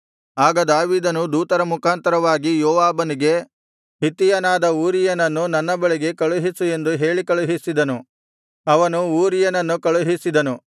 ಆಗ ದಾವೀದನು ದೂತರ ಮುಖಾಂತರವಾಗಿ ಯೋವಾಬನಿಗೆ ಹಿತ್ತಿಯನಾದ ಊರೀಯನನ್ನು ನನ್ನ ಬಳಿಗೆ ಕಳುಹಿಸು ಎಂದು ಹೇಳಿ ಕಳುಹಿಸಿದನು ಅವನು ಊರೀಯನನ್ನು ಕಳುಹಿಸಿದನು